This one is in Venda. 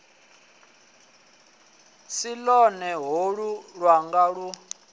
si lwone holu lwanga lu